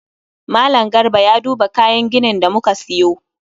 Mallam Garba ya duba kayan ginin da muka siyo